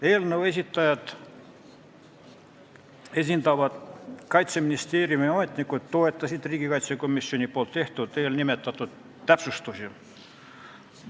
Eelnõu esitajat esindavad Kaitseministeeriumi ametnikud toetasid neid komisjoni täpsustusi.